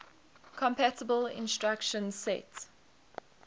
compatible instruction set